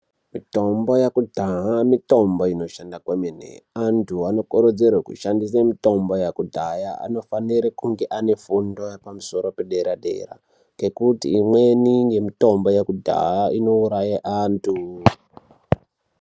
Mitombo yakudhaya mitombo inoshanda kwemene. Antu anokorodzerwa kushandisa mitombo yakudhaya anofanire kunge ane fundo yepamusoro pedera- dera ngekuti imweni yemitombo yekudhaya inouraya antu.